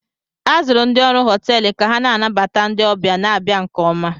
A zụrụ ndị ọrụ họteelụ ka ha na-anabata ndị ọbịa na-abịa nke oma